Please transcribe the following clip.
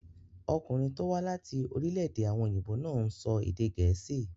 Ọkùnrin tó wá láti orílẹ̀-èdè àwọn òyìnbó náà ń sọ èdè gẹ̀ẹ́sì.